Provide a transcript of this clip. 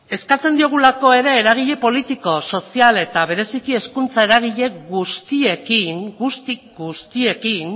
eskatzen diogulako ere eragile politiko sozial eta bereziki hezkuntza eragile guztiekin